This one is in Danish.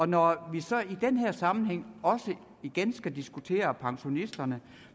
når vi så i den her sammenhæng også igen skal diskutere pensionisterne